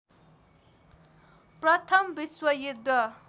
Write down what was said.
प्रथम विश्व युद्ध